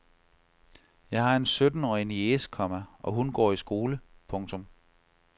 Jeg har en syttenårig niece, komma og hun går i skole. punktum